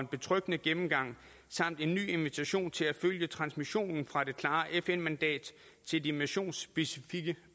betryggende gennemgang samt en ny invitation til at følge transmissionen fra det klare fn mandat til det missionsspecifikke